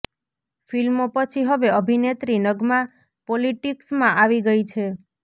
ફિલ્મો પછી હવે અભિનેત્રી નગમા પોલીટીક્સ માં આવી ગઈ છે